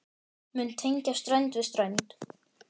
mun tengja strönd við strönd.